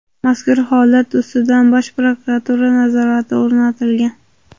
Mazkur holat ustidan Bosh prokuratura nazorati o‘rnatilgan.